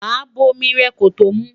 má bó omí rè kòtò mú